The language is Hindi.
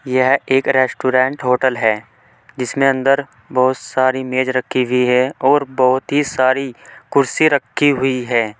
यह एक रेस्टोरेंट होटल है जिसमें अंदर बहुत सारी मेज रखी हुई है और बहुत ही सारी कुर्सी रखी हुई है।